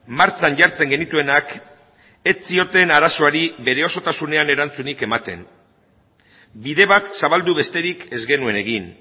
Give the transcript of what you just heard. martxan jartzen genituenak ez zioten arazoari bere osotasunean erantzunik ematen bide bat zabaldu besterik ez genuen egin